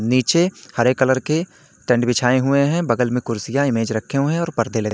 नीचे हरे कलर के टेंट बिछाए हुए हैं बगल में कुर्सियां मेज रखे हुए हैं और पर्दे ल--